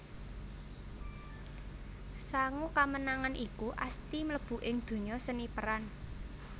Sangu kamenangan iku Asty mlebu ing donya seni peran